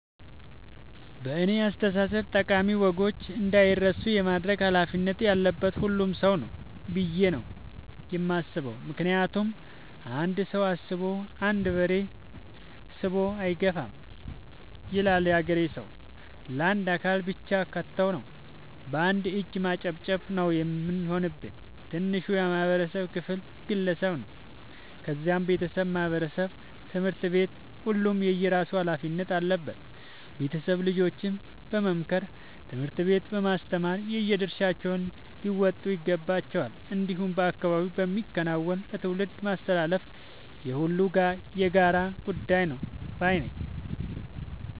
በእኔ አስተሳሰብ ጠቃሚ ወጎች እንዳይረሱ የማድረግ ኃላፊነት ያለበት ሁሉም ሰው ነው። ብዬ ነው የማስበው ምክንያቱም "አንድ ሰው አስቦ አንድ በሬ ስቦ አይገፋም " ይላል ያገሬ ሰው። ለአንድ አካል ብቻ ከተው ነው። በአንድ እጅ ማጨብጨብ ነው የሚሆንብን። ትንሹ የማህበረሰብ ክፍል ግለሰብ ነው ከዛም ቤተሰብ ማህበረሰብ ትምህርት ቤት ሁሉም የየራሱ ኃላፊነት አለበት ቤተሰብ ልጆችን በመምከር ትምህርት ቤት በማስተማር የየድርሻቸውን ሊወጡ ይገባቸዋል። እንዲሁም በአካባቢ በመከወን ለትውልድ ማስተላለፍ የሁሉም የጋራ ጉዳይ ነው ባይነኝ።